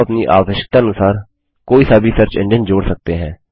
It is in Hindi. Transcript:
आप अपनी आवश्यकतानुसार कोई सा भी सर्च एंजिन जोड़ सकते हैं